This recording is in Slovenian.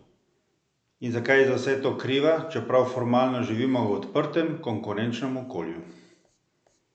In zakaj je za vse to kriva, čeprav formalno živimo v odprtem, konkurenčnem okolju?